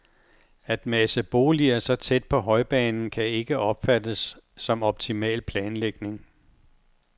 At mase boliger så tæt på højbanen kan ikke opfattes som optimal planlægning.